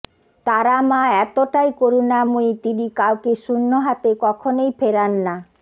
তারা মা এতটাই করুণাময়ী তিনি কাউকে শূন্য হাতে কখনই ফেরান না